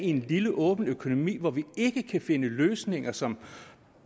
en lille åben økonomi hvor vi ikke kan finde løsninger som